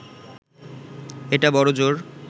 এটা বড়জোর